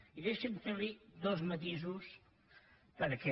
i deixi’m fer li dos matisos perquè